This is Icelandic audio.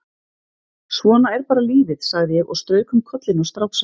Svona er bara lífið, sagði ég og strauk um kollinn á stráksa.